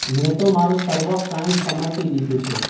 મેં તો મારું સર્વ કાંઈ સમર્પી દીધું છે